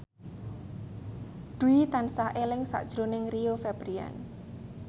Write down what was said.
Dwi tansah eling sakjroning Rio Febrian